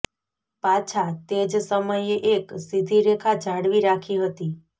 પાછા તે જ સમયે એક સીધી રેખા જાળવી રાખી હતી